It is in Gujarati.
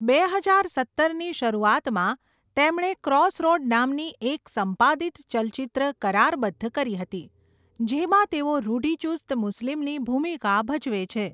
બે હજાર સત્તરની શરૂઆતમાં, તેમણે ક્રોસરોડ નામની એક સંપાદિત ચલચિત્ર કરારબદ્ધ કરી હતી, જેમાં તેઓ રૂઢિચુસ્ત મુસ્લિમની ભૂમિકા ભજવે છે.